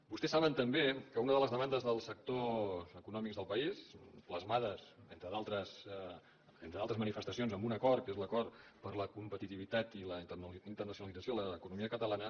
vostès saben també que una de les demandes dels sectors econòmics del país plasmades entre d’altres manifestacions amb un acord que és l’acord per a la competitivitat i la internacionalització de l’economia catalana